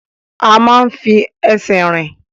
A máa ń fi ẹsẹ̀ rìn.